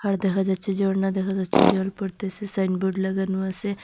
দেখা যাচ্ছে ঝর্না দেখা যাচ্ছে জল পরতেসে সাইনবোর্ড লাগানো আসে।